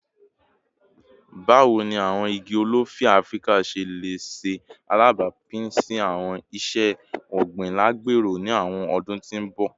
Bawo ni awọn igi olifi Afirika ṣe le ṣe alabapin si awọn iṣe ogbin alagbero ni awọn ọdun ti n bọ?